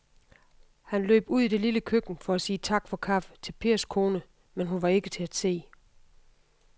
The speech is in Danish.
Han løb ud i det lille køkken for at sige tak for kaffe til Pers kone, men hun var ikke til at se.